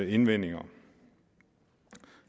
indvendinger